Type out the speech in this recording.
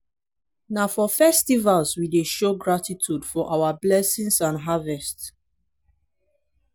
na for festivals we dey show gratitude for our blessings and harvest.